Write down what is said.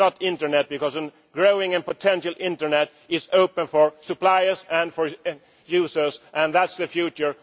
net it is not internet, because a growing and potential internet is open for suppliers and for users that is the future.